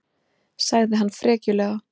sagði hann frekjulega.